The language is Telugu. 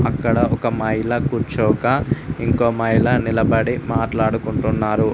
అక్కడ ఒక మైల కూర్చోక ఇంకో మైల నిలబడి మాట్లాడుకుంటున్నారు.